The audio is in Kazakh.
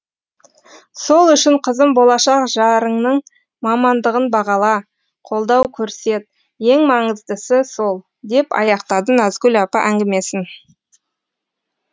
сол үшін қызым болашақ жарыңның мамандығын бағала қолдау көрсет ең маңыздысы сол деп аяқтады назгүл апа әңгімесін